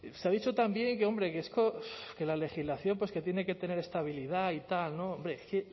se ha dicho también que hombre que la legislación tiene que tener estabilidad y tal hombre es que